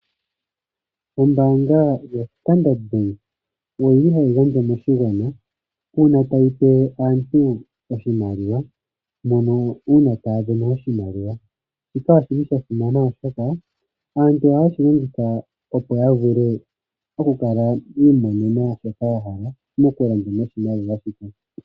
Ombaanga yo Standard bank oyili hayi gandja moshigwana uuna pe aantu oshimaliwa mono uuna taa vena oshimaliwa. Shika oshili sha simana oshoka aantu ohaye aantu ohaye shi longitha opo ya vule okwii monena shoka ya hala mokulanda noshimaliwa shika.